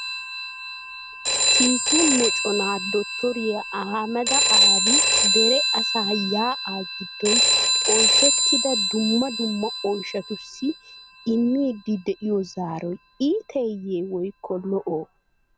Kiike moccona Dottoriya Aahameda Aabi dere asaa yaa'a giddon oyshshetida dumma dumma oyshshatussi immidi de'iyo zaaroy iitteye woyklo lo"o ?